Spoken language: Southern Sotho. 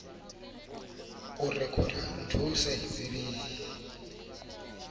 mo re ka o letsetsang